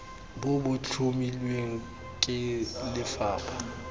bo bo tlhomilweng ke lefapha